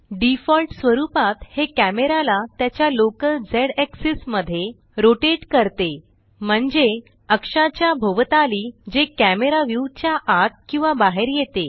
default स्वरुपात हे कॅमेराला त्याच्या लोकल z एक्सिस मध्ये रोटेट करते म्हणजे अक्षाच्या भोवताली जे कॅमरा व्यू च्या आत किंवा बाहेर येते